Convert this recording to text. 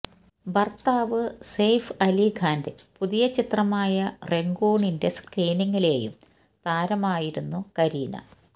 ഭർത്താവ് സെയ്ഫ് അലി ഖാന്റെ പുതിയ ചിത്രമായ രംഗൂണിന്റെ സ്ക്രീനിങ്ങിലെയും താരമായിരുന്നു കരീന